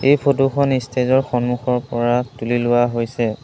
এই ফটো খন ইষ্টেজ ৰ সন্মুখৰ পৰা তুলি লোৱা হৈছে।